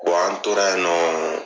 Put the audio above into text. Wa an tora yen nɔ